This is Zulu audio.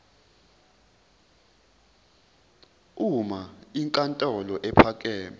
uma inkantolo ephakeme